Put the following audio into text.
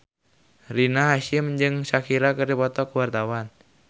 Rina Hasyim jeung Shakira keur dipoto ku wartawan